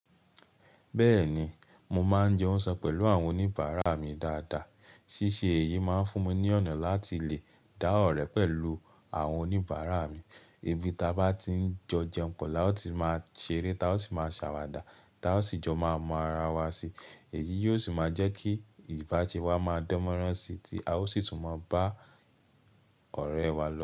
Bẹ́ẹ̀ni, mo máa ń jẹun sán pẹ̀lú àwọn oníbàárà mi dáadáa. Síse èyí máa ń fún mi ní ọ̀nà láti lè dá ọ̀rẹ́ pẹ̀lú àwọn oníbàárà mi. Ibi ta bá ti ń jọ jẹun pọ̀ la ó ti máa ṣeré, ta ó ti máa sàwàdà, ta ó sì jọ máa mọ ara wa si. Èyí yóò sì máa jẹ́ kí ìbáse wa máa dánmọ́rán si tí a ó sì tún mọ bá ọ̀rẹ́ẹ wa lọ.